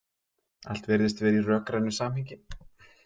Allt virðist vera í rökrænu samhengi.